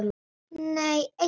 Nei eitt.